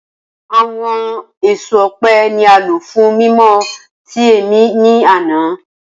Awọn eso ọpẹ ni a lo fun mimọ ti ẹmi ni ana.